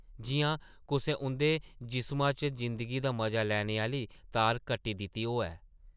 जिʼयां कुसै उंʼदे जिस्मा चा जिंदगी दा मजा लैने आह्ली तार कट्टी दित्ती होऐ ।